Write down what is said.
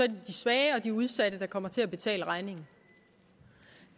de svage og de udsatte der kommer til at betale regningen